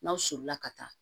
N'aw solila ka taa